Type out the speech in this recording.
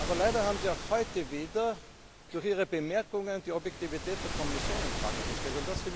Aber leider haben Sie auch heute wieder durch Ihre Bemerkungen die Objektivität der Kommission in Frage gestellt.